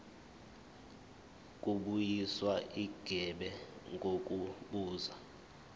kubuyiswa igebe ngokubuza